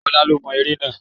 Ọlá lo mo ère náà.